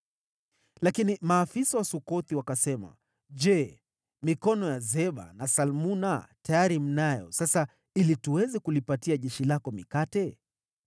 Lakini maafisa wa Sukothi wakasema, “Je, mikono ya Zeba na Salmuna tayari mnayo sasa ili tuweze kulipatia jeshi lako mikate?”